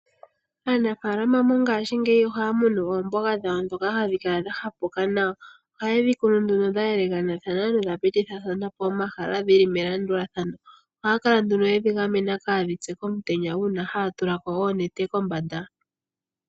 Aanafaalama mongashingeyi oha ya munu oomboga dhawo dhoka hadhi kala dha hapuka nawa, oha ye dhi kunu nduno dha yelekanathana no dha pitithathanapo omahala dhili melandulathano. Ohaya kala yedhi gamena kadhi pye komutenya yatulako oonete kombanda